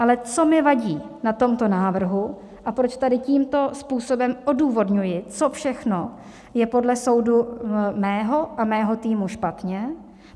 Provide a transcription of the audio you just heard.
Ale co mi vadí na tomto návrhu a proč tady tímto způsobem odůvodňuji, co všechno je podle soudu mého a mého týmu špatně.